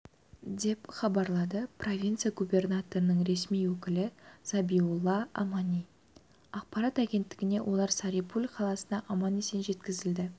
деп хабарлады провинция губернаторының ресми өкілі забиулла амани ақпарат агенттігіне олар сари-пуль қаласына аман-есен жеткізілді